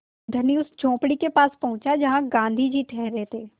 धनी उस झोंपड़ी के पास पहुँचा जहाँ गाँधी जी ठहरे थे